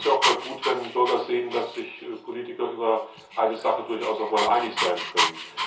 Ich glaube, das ist auch mal gut, wenn Bürger sehen, dass sich Politiker über eine Sache durchaus auch einmal einig sein können.